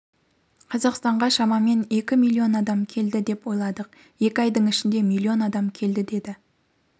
қазақстанға шамамен екі миллион адам келеді деп ойладық екі айдың ішінде миллион адам келді деді